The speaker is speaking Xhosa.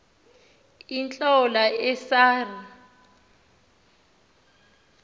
iintlola esa r